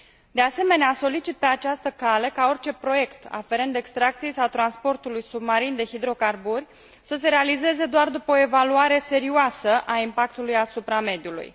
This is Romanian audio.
De asemenea, solicit pe această cale ca orice proiect aferent extracției sau transportului submarin de hidrocarburi să se realizeze doar după o evaluare serioasă a impactului asupra mediului.